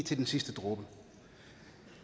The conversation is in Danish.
til den sidste dråbe